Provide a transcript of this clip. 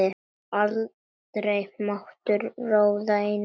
Aldrei mátti hún ráða neinu.